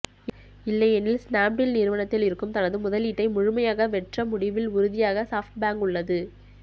இல்லையெனில் ஸ்னாப்டீல் நிறுவனத்தில் இருக்கும் தனது முதலீட்டை முழுமையாக வெற்ற முடிவில் உறுதியாகச் சாப்ட்பேங்க் உள்ளது